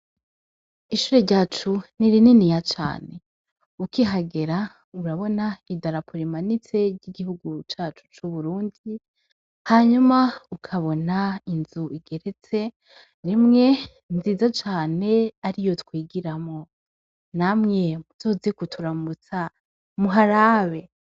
Ishure ryacu ni rinini ya cane, ukihagera urabona idarapurimanitse ry'igihuguru cacu c'uburundi , hanyuma ukabona inzu igeretse rimwe nziza cane ari yo twigiramo, namwe muzozigutura mu butsara muharabe.